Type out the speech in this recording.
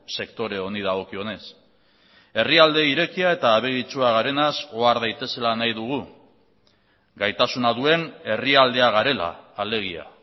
sektore honi dagokionez herrialde irekia eta abegitsua garenaz ohar daitezela nahi dugu gaitasuna duen herrialdea garela alegia